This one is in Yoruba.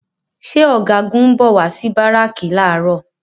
Ṣé Ọ̀gágun ń bọ̀ wá sí Báràkì làárọ̀?